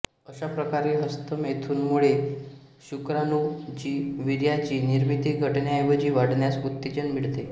अशाप्रकारे हस्तमैथुनमुळे शुक्राणूचीवीर्याची निर्मिती घटण्याऐवजी वाढण्यास उत्तेजना मिळते